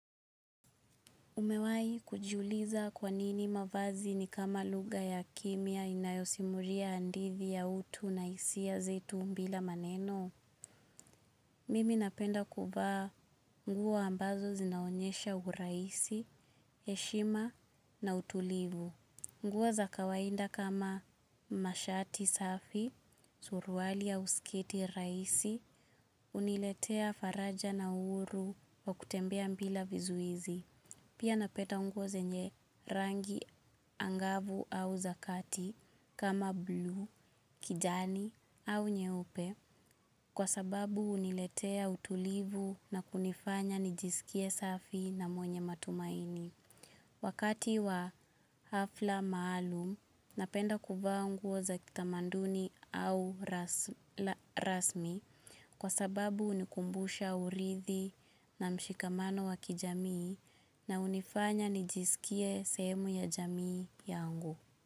Umewai kujiuliza kwa nini mavazi ni kama lugha ya kimya inayosimuria andithi ya utu na isia zetu mbila maneno. Mimi napenda kuvaa nguo ambazo zinaonyesha uraisi, eshima na utulivu. Nguo za kawainda kama mashati safi, suruali au sketi raisi, uniletea faraja na uuru wa kutembea mbila vizuizi. Pia napeta nguo zenye rangi angavu au za kati kama bluu, kijani au nyeupe kwa sababu uniletea utulivu na kunifanya nijisikie safi na mwenye matumaini. Wakati wa hafla maalum, napenda kuvaa nguo za kitamanduni au rasmi kwa sababu unikumbusha urithi na mshikamano wa kijamii na unifanya nijisikie sehemu ya jamii yangu.